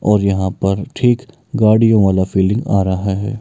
और यहां पर ठीक गाड़ियों वाला फीलिंग आ रहा है।